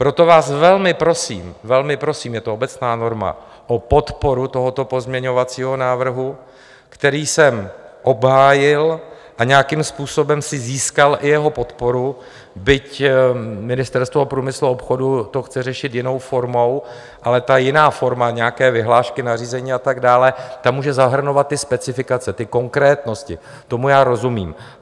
Proto vás velmi prosím, velmi prosím, je to obecná norma, o podporu tohoto pozměňovacího návrhu, který jsem obhájil a nějakým způsobem si získal i jeho podporu, byť Ministerstvo průmyslu a obchodu to chce řešit jinou formou, ale ta jiná forma, nějaké vyhlášky, nařízení a tak dále, ta může zahrnovat ty specifikace, ty konkrétnosti, tomu já rozumím.